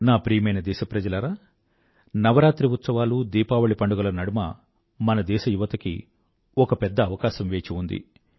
నా ప్రియమైన దేశప్రజలారా నవరాత్రి ఉత్సవాలు దీపావళి పండుగల నడుమ మన దేశ యువతకి ఒక పెద్ద అవకాశం వేచి ఉంది